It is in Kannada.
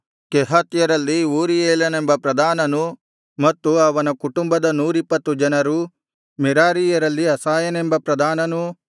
ಕೆಹಾತ್ಯರಲ್ಲಿ ಊರೀಯೇಲನೆಂಬ ಪ್ರಧಾನನೂ ಮತ್ತು ಅವನ ಕುಟುಂಬದ ನೂರಿಪ್ಪತ್ತು ಜನರು